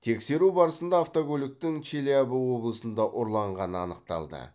тексеру барысында автокөліктің челябі облысында ұрланғаны анықталды